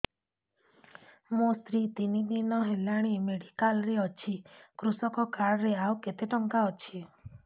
ମୋ ସ୍ତ୍ରୀ ତିନି ଦିନ ହେଲାଣି ମେଡିକାଲ ରେ ଅଛି କୃଷକ କାର୍ଡ ରେ ଆଉ କେତେ ଟଙ୍କା ଅଛି